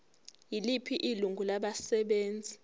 yiliphi ilungu labasebenzi